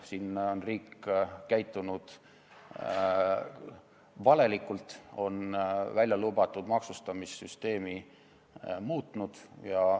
Siin on riik käitunud valelikult, on välja lubatud maksustamissüsteemi muutnud.